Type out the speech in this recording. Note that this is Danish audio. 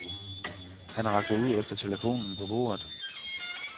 Han rakte ud efter telefonen på bordet.